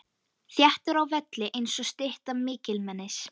Þéttur á velli einsog stytta mikilmennis.